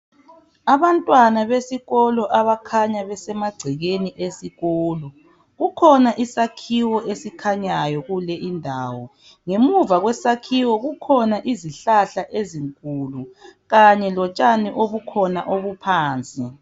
Abantwana besikolo abakhanya besemagcekeni esikolo, kukhona isakhiwo esikhanyayo kule indawo. Ngemuva kwesakhiwo kukhona izihlahla ezinkulu kanye lotshani obukhona obuphansi.